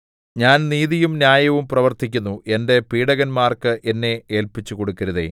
ഞാൻ നീതിയും ന്യായവും പ്രവർത്തിക്കുന്നു എന്റെ പീഡകന്മാർക്ക് എന്നെ ഏല്പിച്ചുകൊടുക്കരുതേ